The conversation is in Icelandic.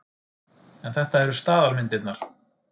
En þetta eru staðalmyndirnar.